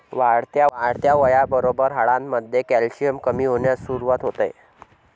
वाढत्या वयाबरोबर हाडांमध्ये कॅल्शियम कमी होण्यास सुरुवात होते.